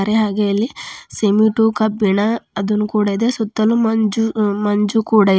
ದೆ ಹಾಗೆ ಇಲ್ಲಿ ಸಿಮೆಟು ಕಬ್ಬಿಣ ಅದನ್ನು ಕೂಡ ಇದೆ ಸುತ್ತಲು ಮಂಜು ಮಂಜು ಕೂಡ ಇ--